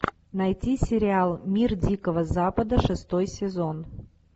найти сериал мир дикого запада шестой сезон